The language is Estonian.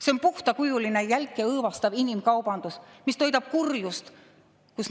See on puhtakujuline jälk ja õõvastav inimkaubandus, mis toidab kurjust.